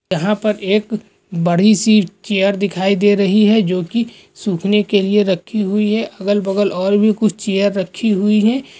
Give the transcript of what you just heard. यहाँ पर एक बड़ी सी चेयर दिखाई दे रही है जो की सूखने के लिए रखी हुई है अगल बगल और भी कुछ चेयर रखी हुई हैं।